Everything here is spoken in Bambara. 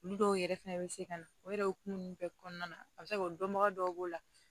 Olu dɔw yɛrɛ fɛnɛ bɛ se ka na o yɛrɛ o kun bɛɛ kɔnɔna na a bɛ se ka kɛ o dɔnbaga dɔw b'o la